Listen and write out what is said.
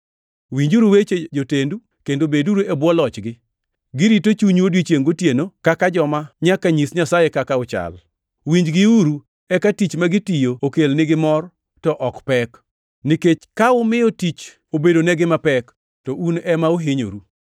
Winjuru weche jotendu kendo beduru e bwo lochgi. Girito chunyu odiechiengʼ gotieno kaka joma nyaka nyis Nyasaye kaka uchal. Winjgiuru, eka tich ma gitiyo okelnigi mor to ok pek, nikech ka umiyo tich obedonegi mapek to un ema uhinyoru.